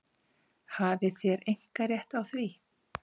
Hafið þér einkarétt á því?